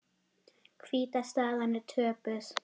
Hvíta staðan er töpuð.